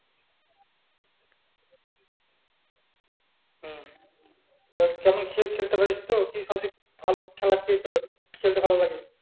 হম তো কেমন খ~ খেলতে পারিস তো? কি সবচেয়ে ভালো খেলা কি তোর খেলতে ভালো লাগে?